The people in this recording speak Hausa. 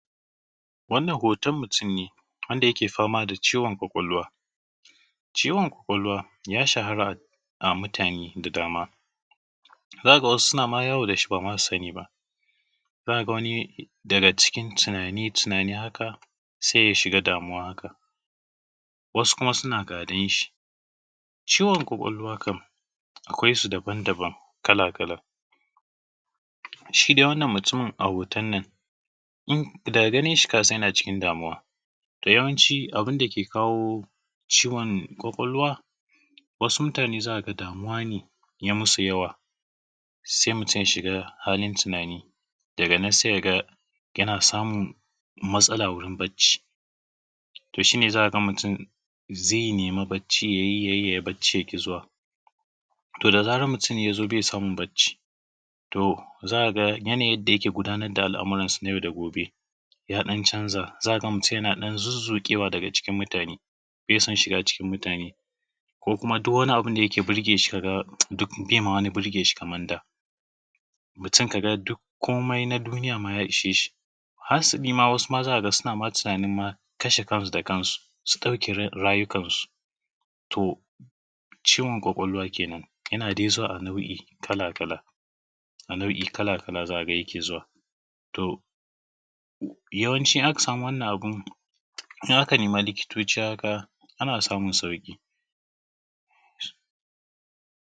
Wannan hoton mutum ne wanda yake fama da ciwon ƙwaƙwalwa. Ciwon ƙwaƙwalwa ya shahara a mutane da yawa. Za ka ga wasu suna yawo da shi ba ma su sani ba. Za ka ga wani daga cikin tunane-tunane haka, sai ya shiga damuwa. Haka wasu kuma suna gadon shi. Ciwon ƙwaƙwalwa kam akwai su daban-daban kala-kala. Shi dai a wannan mutumi a hoton nan daga ganin shi ka san yana cikin damuwa. To yawanci abin dake kawo ciwon ƙwaƙwalwa, wasu mutanen za ka ga cewa damuwa ne ya masu yawa, sai mutum ya shiga halin tunani daga nan sai ka ga yana samun matsala gurin bacci. To shi ne za ka ga mutum ya nemi bacci ya yi, ya yi baccin ya ƙi zuwa. To da zarar mutum ya zo bai samun bacci, to za ka ga yanayin yadda yake gudanar da al’amuransa na yau da gobe ya ɗan canza. Za ka ga mutum yana ɗan zuzzuƙewa daga cikin mutane, bai son shiga cikin mutane, ko kuma duk wani abu da yake burge shi, ka ga duk bai burge shi. Kamar dai mutum ka ga komai na duniya ma ta ishe shi. Hasali ma, wasu za ka ga suna ma tunanin ma kashe kansu da kansu, su ɗauki rayukansu. To ciwon ƙwaƙwalwa kenan. Yana dai zuwa a nau’i kala-kala. To yawanci idan aka samu wannan abin, in aka nemi likitoci haka ana samun sauƙi.